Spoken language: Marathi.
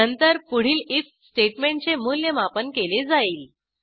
नंतर पुढील आयएफ स्टेटमेंटचे मूल्यमापन केले जाईल